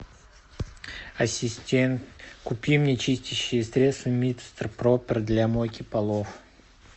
ассистент купи мне чистящее средство мистер пропер для мойки полов